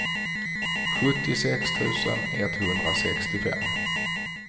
sjuttiosex tusen etthundrasextiofem